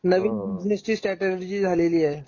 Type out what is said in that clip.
हो हो हो नवीन बिजनेस ची स्ट्रॅटेजी झालेली आहे.